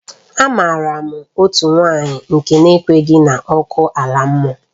Amaara m otu nwanyị nke na-ekweghị na ọkụ ala mmụọ